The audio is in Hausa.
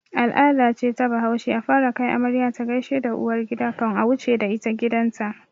Al'ada ce ta bahaushe a fara kai amarya ta gaishe da uwargida kan a wuce da ita gidan ta